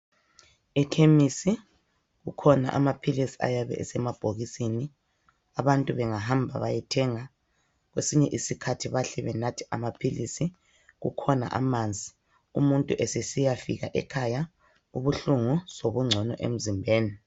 Ekhemisi kukhona amaphilisi ayabe esemabhokisini, abantu bengahamba bayethenga kwesinye isikhathi bahle benathe amaphilisi. Kukhona amanzi umuntu esesiyafika ekhaya ubuhlungu sobungcono emzimbeni.